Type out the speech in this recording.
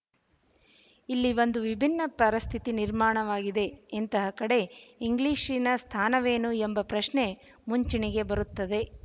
ಇಲ್ಲಿ ಒಂದು ವಿಭಿನ್ನ ಪರಿಸ್ಥಿತಿ ನಿರ್ಮಾಣವಾಗಿದೆ ಇಂತಹ ಕಡೆ ಇಂಗ್ಲಿಶಿನ ಸ್ಥಾನವೇನು ಎಂಬ ಪ್ರಶ್ನೆ ಮುಂಚೂಣಿಗೆ ಬರುತ್ತದೆ